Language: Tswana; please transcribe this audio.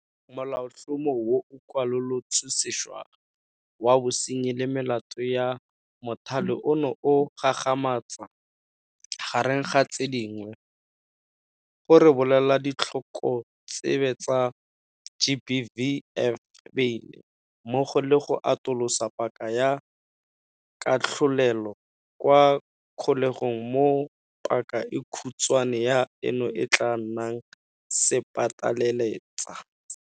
Molaotlhomo o o Kwalolotswe Sešwa wa Bosenyi le Melato ya Mothale ono o gagamatsa, gareng ga tse dingwe, go rebolela ditlhokotsebe tsa GBVF beile, mmogo le go atolosa paka ya katlholelo kwa kgolegong mo paka e khutshwane ya eno e tla nnang sepateletsa.